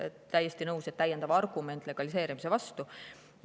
Täiesti nõus, et see on täiendav argument legaliseerimise vastu.